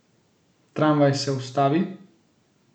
Tramvaj se ustavi.